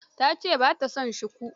Ta ce ba ta son shuku.